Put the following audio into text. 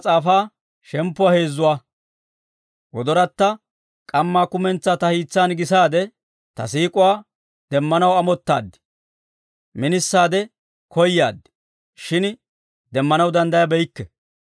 K'amma kumentsaa ta hiis'an gisaade, ta siik'uwaa demmanaw amottaad; minisaade koyaad; shin demmanaw danddayabeykke.